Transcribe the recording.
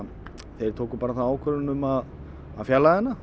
þeir tóku ákvörðun um að fjarlæga hana